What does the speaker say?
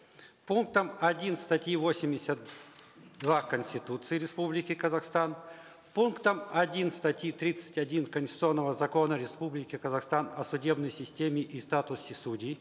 пунктом один статьи восемьдесят два конституции республики казахстан пунктом один статьи тридцать один конституционного закона республики казахстан о судебной системе и статусе судей